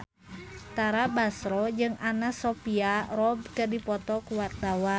Tara Basro jeung Anna Sophia Robb keur dipoto ku wartawan